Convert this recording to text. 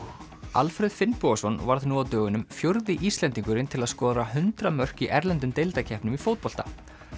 Alfreð Finnbogason varð nú á dögunum fjórði Íslendingurinn til að skora hundrað mörk í erlendum deildakeppnum í fótbolta